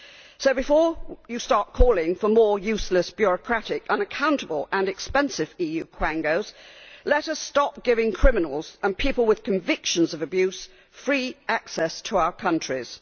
So before you start calling for more useless, bureaucratic, unaccountable and expensive EU quangos, let us stop giving criminals and people with convictions for abuse free access to our countries.